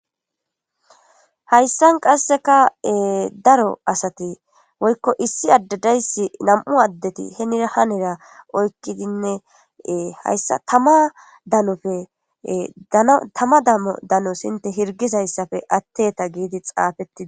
hayssan qasseka daro asati woykko issi adde dayssi nam'u addeti henira hanera oykkidinne hayssa tama danofe tama damo dano hinte hirgizayssafe atteta giidi xaafettidi